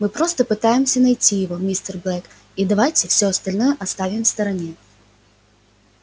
мы просто пытаемся найти его мистер блэк и давайте все остальное оставим в стороне